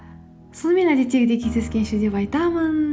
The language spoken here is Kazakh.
сонымен әдеттегідей кездескенше деп айтамын